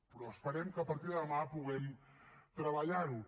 però esperem que a partir de demà puguem treballar ho